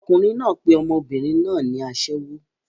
Ọkùnrin náà pe ọmọbìnrin náà ní aṣẹ́wó.